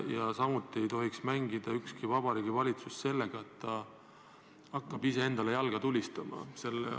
Ja samuti ei tohi ükski Vabariigi Valitsus mängida sellega, et hakkab iseendale jalga tulistama.